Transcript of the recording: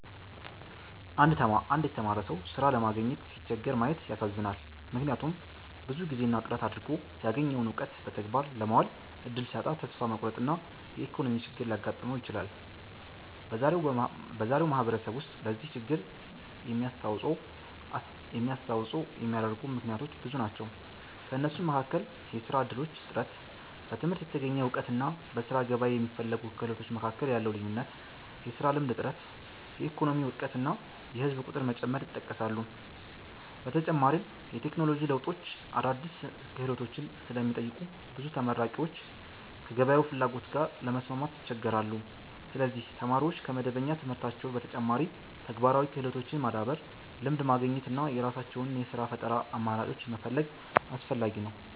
አንድ የተማረ ሰው ሥራ ለማግኘት ሲቸገር ማየት ያሳዝናል፤ ምክንያቱም ብዙ ጊዜና ጥረት አድርጎ ያገኘውን እውቀት በተግባር ለማዋል እድል ሲያጣ ተስፋ መቁረጥና የኢኮኖሚ ችግር ሊያጋጥመው ይችላል። በዛሬው ማህበረሰብ ውስጥ ለዚህ ችግር የሚያስተዋጽኦ የሚያደርጉ ምክንያቶች ብዙ ናቸው። ከእነሱም መካከል የሥራ እድሎች እጥረት፣ በትምህርት የተገኘ እውቀትና በሥራ ገበያ የሚፈለጉ ክህሎቶች መካከል ያለው ልዩነት፣ የሥራ ልምድ እጥረት፣ የኢኮኖሚ ውድቀት እና የህዝብ ቁጥር መጨመር ይጠቀሳሉ። በተጨማሪም የቴክኖሎጂ ለውጦች አዳዲስ ክህሎቶችን ስለሚጠይቁ ብዙ ተመራቂዎች ከገበያው ፍላጎት ጋር ለመስማማት ይቸገራሉ። ስለዚህ ተማሪዎች ከመደበኛ ትምህርታቸው በተጨማሪ ተግባራዊ ክህሎቶችን ማዳበር፣ ልምድ ማግኘት እና የራሳቸውን የሥራ ፈጠራ አማራጮች መፈለግ አስፈላጊ ነው።